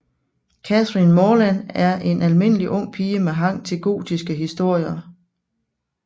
Catherine Morland er en almindelig ung pige med hang til gotiske historier